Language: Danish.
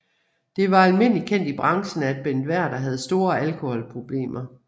Det var almindelig kendt i branchen at Bent Werther havde store alkoholproblemer